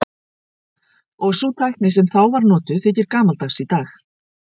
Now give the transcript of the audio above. Og sú tækni sem þá var notuð þykir gamaldags í dag.